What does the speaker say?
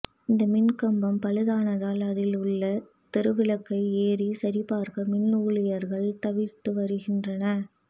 இந்த மின்கம்பம் பழுதானதால் அதில் உள்ள தெரு விளக்கை ஏரி சரிபார்க்க மின் ஊழியர்கள் தவிர்த்து வருகின்றனர்